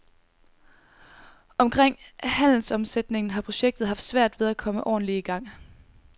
Omkring handelsomsætningen har projektet haft svært ved at komme ordentlig i gang.